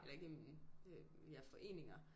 Eller i gennem ja foreninger